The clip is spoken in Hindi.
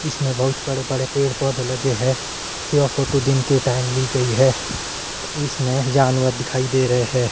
इसमें बहुत बड़े बड़े पेड़ पौधे लगे हुए हैं यह फोटो दिन के टाइम ली गई है इसमें जानवर दिखाई दे रहे हैं।